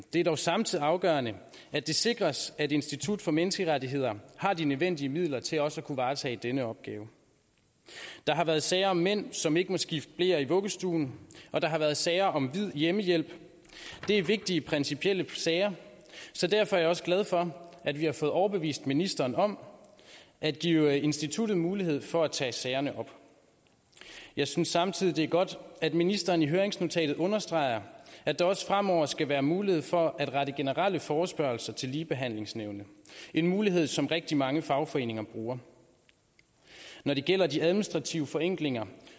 er dog samtidig afgørende at det sikres at institut for menneskerettigheder har de nødvendige midler til også at kunne varetage denne opgave der har været sager om mænd som ikke må skifte bleer i vuggestuen og der har været sager om hvid hjemmehjælp det er vigtige principielle sager så derfor er jeg også glad for at vi har fået overbevist ministeren om at give instituttet mulighed for at tage sagerne op jeg synes samtidig det er godt at ministeren i høringsnotatet understreger at der også fremover skal være mulighed for at rette generelle forespørgsler til ligebehandlingsnævnet en mulighed som rigtig mange fagforeninger bruger når det gælder de administrative forenklinger